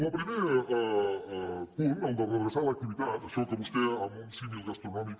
el primer punt el de redreçar l’activitat això que vostè amb un símil gastronòmic